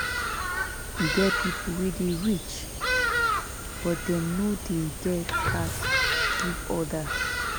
E get pipo wey dey rich but dem no dey get heart give odas.